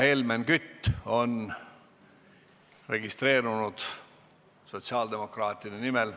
Helmen Kütt on registreerunud sotsiaaldemokraatide nimel.